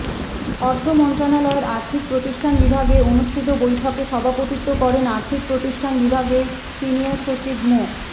অর্থ মন্ত্রণালয়ের আর্থিক প্রতিষ্ঠান বিভাগে অনুষ্ঠিত বৈঠকে সভাপতিত্ব করেন আর্থিক প্রতিষ্ঠান বিভাগের সিনিয়র সচিব মো